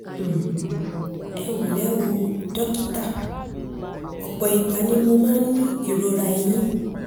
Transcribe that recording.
um ẹ ńlẹ́ o dókítà um ọ̀pọ̀ um ìgbà ni mo máa ń ní ìrora ẹ̀yìn